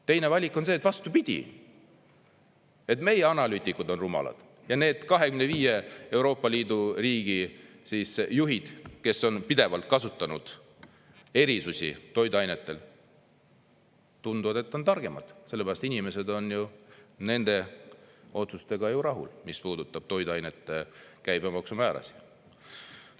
Teine valik on see, et vastupidi, meie analüütikud on rumalad ja need 25 Euroopa Liidu riigi juhid, kes on pidevalt kasutanud erisusi toiduainetel, tundub, et on targemad, sellepärast, et inimesed on ju nende otsustega rahul, mis puudutab toiduainete käibemaksu määrasid.